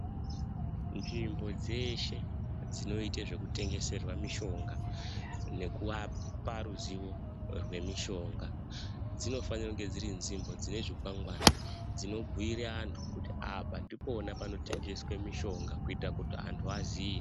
Nzvimbo dzeshe dzinoite zvekutengeserwa mishonga nokuapa ruzivo rwemishonga, dzinofanira kunge dziri nzvimbo dzine zvikwangwani, dzinobhuyire antu kuti apa ndipona panotengeswe mishonga kuita kuti antu aziye.